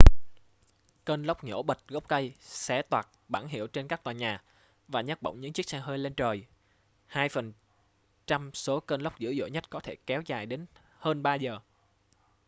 cơn lốc nhổ bật gốc cây xé toạc bảng hiệu trên các tòa nhà và nhấc bổng những chiếc xe hơi lên trời hai phần trăm số cơn lốc dữ dội nhất có thể kéo dài đến hơn ba giờ